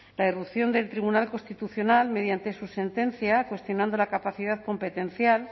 la irrupción del tribunal constitucional mediante su sentencia cuestionando la capacidad competencial